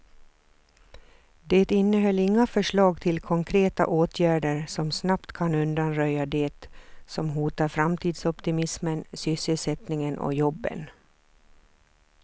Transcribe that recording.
Det innehöll inga förslag till konkreta åtgärder som snabbt kan undanröja det som hotar framtidsoptimismen, sysselsättningen och jobben.